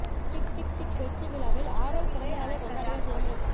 tick Tik Tik வெற்றி விழாவில் ஆரவ் பிறந்தநாளை கொண்டாடிய ஜெயம்ரவி